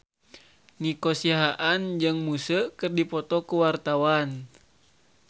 Nico Siahaan jeung Muse keur dipoto ku wartawan